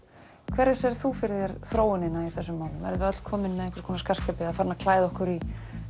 hverja sérð þú fyrir þér þróunina verða í þessum málum verðum við öll komin með einhvers konar skartgripi eða farin að klæða okkur í